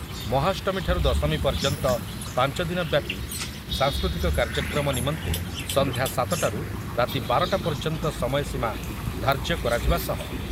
ମହାଷ୍ଟମୀଠାରୁ ଦଶମୀ ପର୍ଯ୍ୟନ୍ତ ପାଞ୍ଚ ଦିନ ବ୍ୟାପି ସାଂସ୍କୃତିକ କାର୍ଯ୍ୟକ୍ରମ ନିମନ୍ତେ ସନ୍ଧ୍ୟା ସାତ ଟାରୁ ରାତି ବାର ଟା ପର୍ଯ୍ୟନ୍ତ ସମୟସୀମା ଧାର୍ଯ୍ୟ କରାଯିବା ସହ